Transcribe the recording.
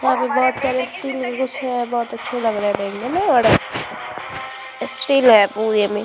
वहाँ पे बहुत सारे बहुत अच्छे लग रहे है देखने में और --